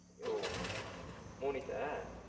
ஓ Monish ஆ?